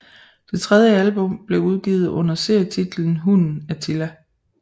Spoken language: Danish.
Det tredje album blev udgivet under serietitlen Hunden Attila